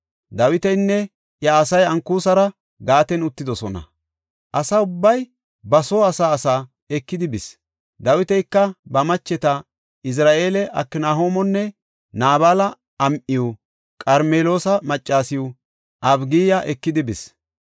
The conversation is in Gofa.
Dawitinne iya asay Ankusara Gaaten uttidosona. Asa ubbay ba soo asa asa ekidi bis; Dawitika ba macheta, Izira7eele Aknahoomonne Naabala am7iw, Qarmeloosa maccasiw, Abigiya ekidi bis.